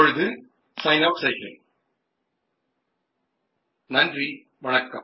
recording सुरू होते